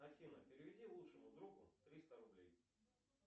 афина переведи лучшему другу триста рублей